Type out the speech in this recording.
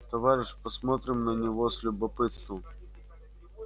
товарищ посмотрел на него с любопытством